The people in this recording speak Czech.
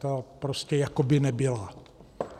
Ta prostě jako by nebyla.